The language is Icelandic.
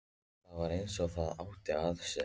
Það var eins og það átti að sér.